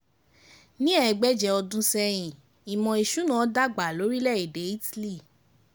Ní ẹ̀ẹ́gbẹ́jẹ ọdún sẹ́yìn, ìmò ìsúná dàgbà lórílẹ̀-èdè Italy.